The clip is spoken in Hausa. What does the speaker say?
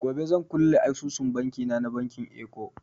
Gobe zan kulle asusun banki na na bankin eko.